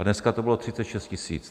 A dneska to bylo 36 tisíc.